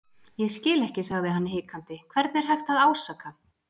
Ég skil ekki sagði hann hikandi, hvern er hægt að ásaka.